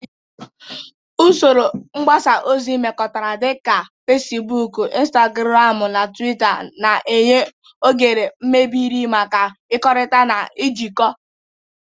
Usoro mgbasa ozi mmekọrịta dị ka Fecibuukụ, Intagụramụ na Tuwita na-enye oghere mebere maka ịkekọrịta na ijikọ.